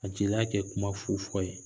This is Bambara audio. Ka jeliya kɛ kuma fu fɔ ye